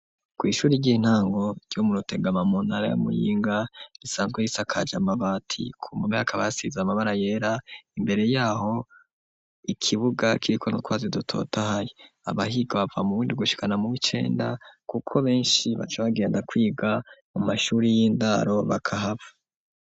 Ku ishure ry'intango ryo mu rutegama muntara ya muyinga risanzwe risakaje amabati ku mpome hakaba hasize amabara yera imbere yaho ikibuga ciriko nu twatsi dutotaye abahiga bava mu bundi gushikana mu bicenda kuko benshi baca bagenda kwiga mu mashure y'indaro bakahaba.